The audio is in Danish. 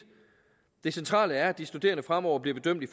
det centrale er at de studerende fremover bliver bedømt i